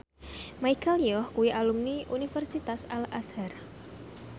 Michelle Yeoh kuwi alumni Universitas Al Azhar